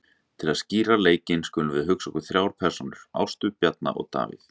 Til að skýra leikinn skulum við hugsa okkur þrjár persónur, Ástu, Bjarna og Davíð.